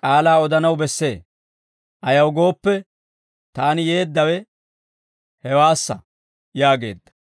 k'aalaa odanaw bessee; ayaw gooppe, taani yeeddawe hewaassa» yaageedda.